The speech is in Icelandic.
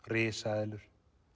risaeðlur